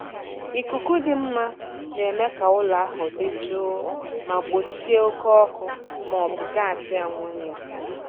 ikuku dị mma na-eme ka ụlọ ahụ dị jụụ ma gbochie oke ọkụ maọbụ gasị amonia.